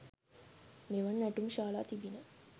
මෙවන් නැටුම් ශාලා තිබිණි.